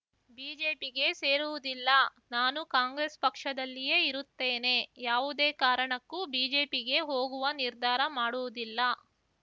ಬಿಜೆಪಿಗೆ ಸೇರುವುದಿಲ್ಲ ನಾನು ಕಾಂಗ್ರೆಸ್‌ ಪಕ್ಷದಲ್ಲಿಯೇ ಇರುತ್ತೇನೆ ಯಾವುದೇ ಕಾರಣಕ್ಕೂ ಬಿಜೆಪಿಗೆ ಹೋಗುವ ನಿರ್ಧಾರ ಮಾಡುವುದಿಲ್ಲ